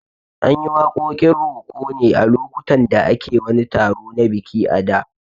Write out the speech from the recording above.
An yi waƙoƙin roko ne a lokutan da ake wani taro na biki a da